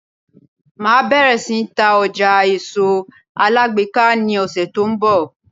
Máa bẹ̀rẹ̀ sí ní ta ọjà èso alágbèéká ní ọ̀sẹ̀ tó ń bọ̀.